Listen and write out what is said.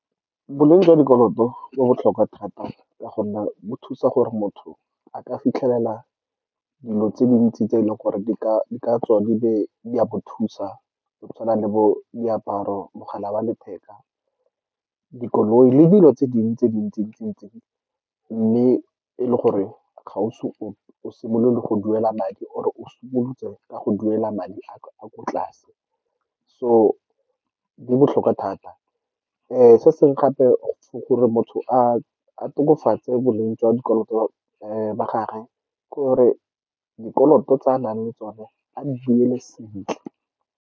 Boleng jwa dikoloto bo botlhokwa thata, ka gonne bo thusa gore motho a ka fitlhelela dilo tse dintsi tse e leng gore di ka tswa di a mo thusa, go tshwana le bo diaparo, mogala wa letheka, dikoloi le dilo tse dingwe tse dintsi ntsi-ntsi-ntsi. Mme e le gore ga o simolole go duela madi, or o simolotse ka go duela madi a kwa tlase. So, di botlhokwa thata. Se sengwe gape, ke gore motho a tokafatse boleng jwa dikoloto ba gagwe, ke gore dikoloto tse a nang le tsone, a di duele sentle.